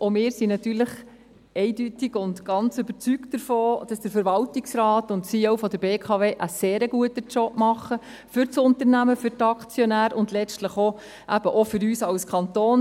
Auch wir sind natürlich eindeutig und ganz davon überzeugt, dass Verwaltungsrat und CEO der BKW einen sehr guten Job machen für das Unternehmen, für die Aktionäre und letztlich eben auch für uns als Kanton.